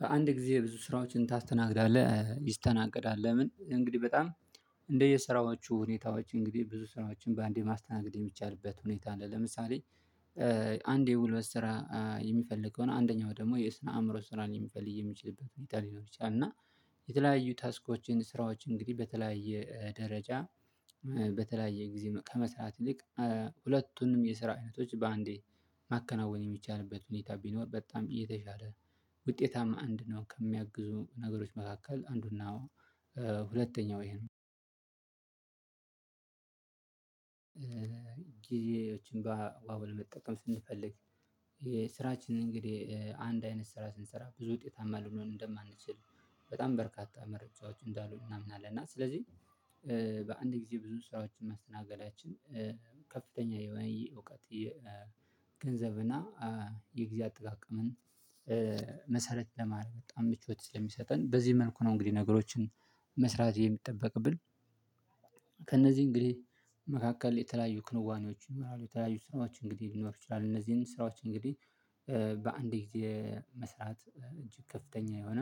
በአንድ ጊዜ ብዙ ስራዎችን ታስተናግዳለህ ይስተናገዳል? ለምን እንግዲህ በጣም እንደየስራዎቹ ሁኔታዎች እንግዲህ ብዙ ሰዎችን በአንዴ ማስተናገድ የሚቻልበት ሁኔታ አለ ለምሳሌ አንድ የጉልበት ስራ የሚፈልግ አንደኛው ደግሞ የስነ አእምሮ ስራን ሊፈልግ የሚችልበት ሁኔታ ሊኖር ይችላል እና የተለያዩ ታስኮችን ስራዎች እንግዲህ በተለያየ ደረጃ በተለያየ ጊዜ ከመስራት ይልቅ ሁለቱንም የስራ አይነቶች በአንዴ ማከናወን የሚቻልበት ሁኔታ ቢኖር በጣም የተሻለ ውጤታማ እንድንሆን ከሚያግዙ ነገሮች መካከል አንዱና ሁለተኛው ይሄ ነው። ጊዜዎችን በአግባቡ ለመጠቀም ስንፈልግ ስራችንን እንግዲህ አንድ አይነት ስራ ስንሰራ ብዙ ውጤታማ ልንሆን እንደማንችል በጣም በርካታ መረጃዎቹ እንዳሉ እናምናለን። እና ስለዚህ በአንድ ጊዜ ብዙ ስራዎችን ማስተናገዳችን ከፍተኛ የሆነ እውቀት የገንዘብና የጊዜ አጠቃቀምን መሰረት ለማረግ በጣም ምቾት ስለሚሰጠን በዚህ መልኩ ነው። እንግዲህ ነገሮችን መስራት የሚጥቀምብን ከእነዚህ እንግዲህ መካከል የተለያዩ ክንዋኔዎች ይኖራሉ የተለያዩ ስራዎች እንግዲህ ሊኖር ይችላል። እነዚህን ስራዎች እንግዲህ በአንድ ጊዜ መስራት እጅግ ከፍተኛ የሆነ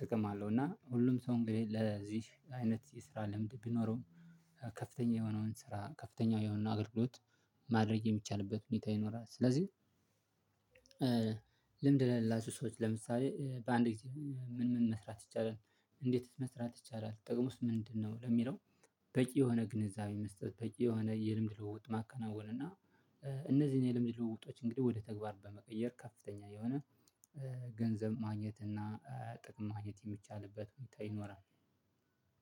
ጥቅም አለው። እና ሁሉም ሰው እንግዲህ ለዚህ አይነት የስራ ልምድ ቢኖረውም ከፍተኛ የሆነውን ስራ ከፍተኛ የሆነውን አገልግሎት ማድረግ የሚቻልበት ሁኔታ ይኖራል። ስለዚህ ልምድ ለሌላችው ሰዎች ለምሳሌ በአንድ ጊዜ ምን ምን መስራት ይቻላል እንዴት መስራት ይቻላል? ጥቅሙስ ምንድነው? ለሚለው በቂ የሆነ ግንዛቤ መስጠት በቂ የሆነ የልምድ ልውውጥ ማከናወን እና እነዚህን የለምድ ልውውጦች እንግዲህ ወደ ተግባር በመቀየር ከፍተኛ የሆነ ገንዘብ ማግኘት እና ጥቅም ማግኘት የሚቻልበት ሁኔታ ይኖራል።